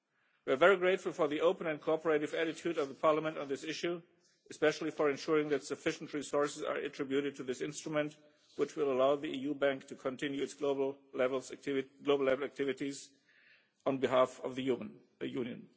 We are very grateful for the open and cooperative attitude of Parliament on this issue, especially for ensuring that sufficient resources are attributed to this instrument, which will allow the EU bank to continue its global level activities on behalf of the Union.